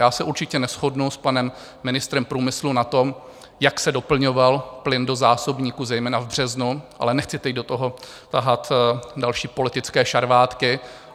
Já se určitě neshodnu s panem ministrem průmyslu na tom, jak se doplňoval plyn do zásobníků zejména v březnu, ale nechci teď do toho tahat další politické šarvátky.